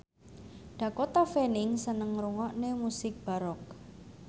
Dakota Fanning seneng ngrungokne musik baroque